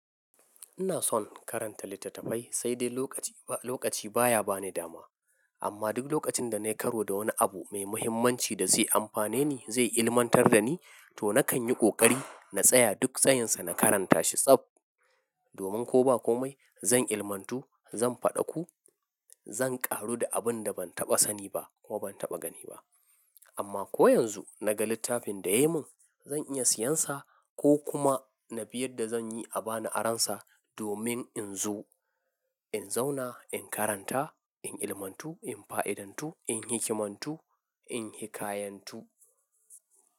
Ina son karanta littattafai sai dai lokaci, lokaci baya bani dama. Amma duk lokacin da na yi karo da wani abu mai muhimmanci da zai amfane ni, zai ilmantar da ni, to nakan yi ƙoƙari na tsaya duk tsayinsa, na karanta shi tsab. Domin ko ba komai zan ilmatu, zan faɗaku, zan ƙaru da abinda ban taɓa sani ba kuma ban taɓa gani ba. Amma ko yanzu naga littafin da yai mun, zan iya siyan sa ko kuma na bi yanda zan yi a bani aron sa domin in zo, in zauna, in karanta, in ilmatu, in fa'idantu, in hikimantu, in hikayantu.